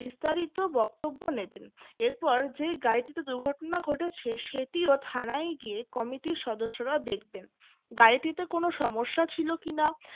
বিস্তারিত বক্তব্য নেবেন এরপর যে গাড়িটিতে দুর্ঘটনা ঘটেছে সেটিও থানায় গিয়ে committee র সদস্যরা দেখবেন গাড়িটিতে কোন সমস্যা ছিল কিনা